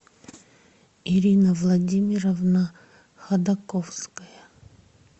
ирина владимировна ходаковская